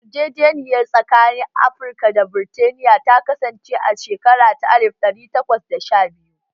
Yarjejeniyar tsakanin Amurka da Burtaniya ta kasance a shekara ta alif ɗari takwas da sha biyu